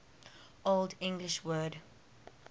old english word